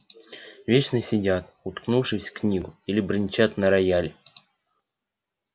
вечно сидят уткнувшись в книгу или бренчат на рояле